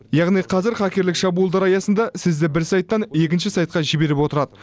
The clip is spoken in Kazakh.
яғни қазір хакерлік шабуылдар аясында сізді бір сайттан екінші сайтқа жіберіп отырады